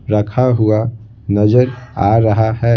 रखा हुआ नजर आ रहा है।